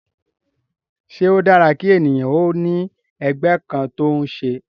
Ṣé ó dára kí ènìyàn ó ní ẹgbẹ́ kan tó ń ṣe?